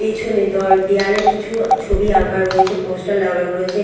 পেছনে দর দেওয়ালে কিছু ছবি আঁকা রয়েছে পোস্টার লাগানো রয়েছে।